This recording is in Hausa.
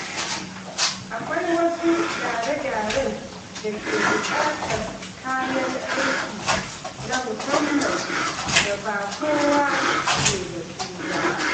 Akwai wasu gyare-gyaren da ke buƙatar kayan aiki na musamman da ba kowa ke da su ba.